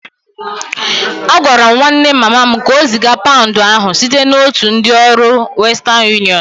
Agwara m nwanne mama m ka o ziga paụnd ahụ site n'otu ndị ọrụ ọ western unịọnụ